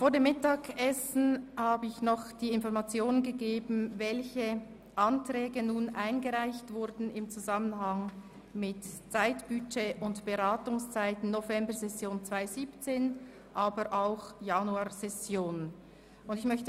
Vor dem Mittagessen habe ich noch die Information gegeben, welche Anträge im Zusammenhang mit dem Zeitbudget und den Beratungszeiten der laufenden Session sowie hinsichtlich einer zusätzlichen Januarsession eingereicht wurden.